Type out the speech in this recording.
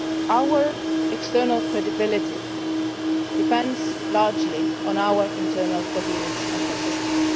Our external credibility depends largely on our internal coherence and consistency.